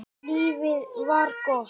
Lífið var gott.